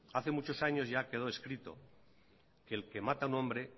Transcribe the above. hace muchos años ya quedó escrito que el que mata a un hombre